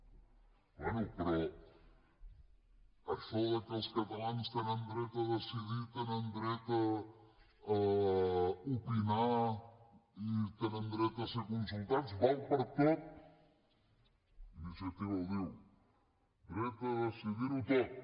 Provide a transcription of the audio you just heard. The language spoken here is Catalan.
ah bé però això que els catalans tenen dret a decidir tenen dret a opinar i tenen dret a ser consultats val per a tot iniciativa ho diu dret a decidirho tot